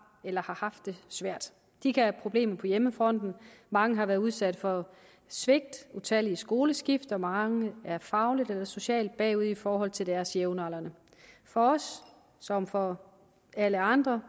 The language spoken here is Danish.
eller har haft det svært de kan have problemer på hjemmefronten mange har været udsat for svigt utallige skoleskift og mange er fagligt eller socialt bagud i forhold til deres jævnaldrende for os som for alle andre